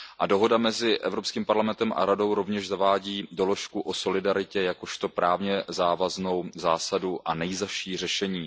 Dohoda mezi Evropským parlamentem a Radou rovněž zavádí doložku o solidaritě jakožto právně závaznou zásadu a nejzazší řešení.